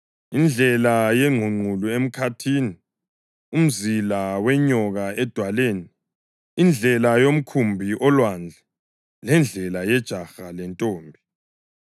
indlela yengqungqulu emkhathini, umzila wenyoka edwaleni, indlela yomkhumbi olwandle, lendlela yejaha lentombi.